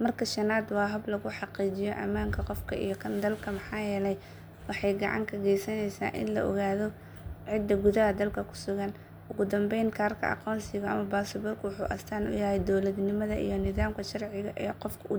Marka shanaad, waa hab lagu xaqiijiyo ammaanka qofka iyo kan dalka maxaa yeelay waxay gacan ka geysaneysaa in la ogaado cidda gudaha dalka ku sugan. Ugu dambeyn, kaarka aqoonsiga ama baasaboorku wuxuu astaan u yahay dawladnimada iyo nidaamka sharci ee qofka u degsan.